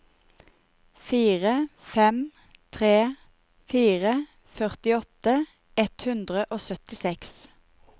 fire fem tre fire førtiåtte ett hundre og syttiseks